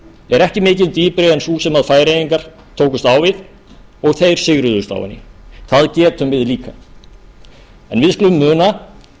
er ekki mikið dýpri en sú sem færeyingar tókust á við og þeir sigruðust á henni það getum við líka við skulum muna